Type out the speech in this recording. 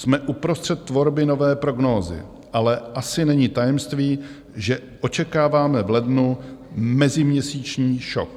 Jsme uprostřed tvorby nové prognózy, ale asi není tajemství, že očekáváme v lednu meziměsíční šok.